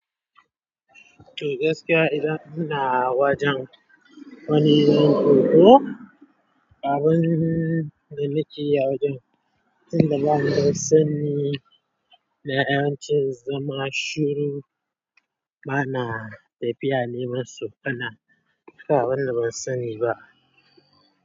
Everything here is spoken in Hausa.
To gaskiya idan ina wajen wani yin hoto, abun da nake yi a wajen, tunda ban san sani da 'yan cin zama shiru, bana tafiya neman su, kana haka banda ban sani ba.